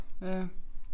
Ja